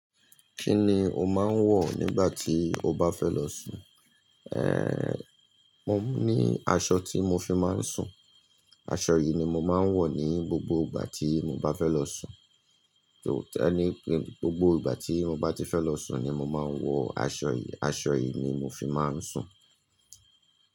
Kí ni o máa ń wọ̀ nígbà tí o bá fẹ́ lọ sùn? Ehn, mo ní aṣọ tí mo fi máa ń sùn. Aṣọ yìí ni mo máa ń wọ̀ ní gbogbo ìgbà tí mo bá fẹ́ lọ sùn. Tèlé ni pé gbogbo ìgbà tí mo bá ti fẹ́ lọ sùn ni mo máa ń wọ aṣọ yìí. Aṣọ yìí ni mo fi máa ń sùn.